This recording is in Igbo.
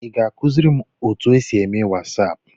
Ị ga-akụziri m otu esi eme wasaapụ?